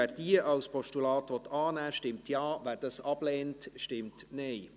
Wer diese als Postulat annehmen will, stimmt Ja, wer dies ablehnt, stimmt Nein.